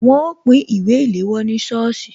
Wọn ó pín ìwé ìléwọ́ ní sọ́ọ̀sì